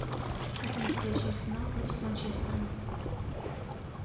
хотим встречу арсенал против манчестера